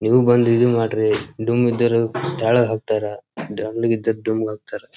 ನೀವು ಬಂದ್ ಇದ್ ಮಾಡ್ರಿ ಡುಮ್ ಇದ್ದರ ತೆಳ್ಳಗ ಆಗ್ತಾರ ಇದ್ದರ ತೆಳ್ಳಗ ಡುಮ್ ಆಗ್ತಾರ .